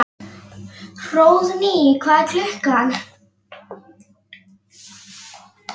Hróðný, hvað er klukkan?